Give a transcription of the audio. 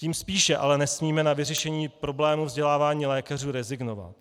Tím spíše ale nesmíme na vyřešení problému vzdělávání lékařů rezignovat.